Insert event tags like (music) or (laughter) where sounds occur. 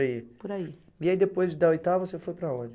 (unintelligible) Por aí. E aí, depois da oitava, você foi para onde?